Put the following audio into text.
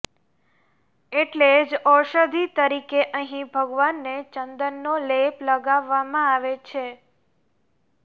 એટલે જ ઔષધિ તરીકે અહીં ભગવાનને ચંદનનો લેપ લગાવવામાં આવે છે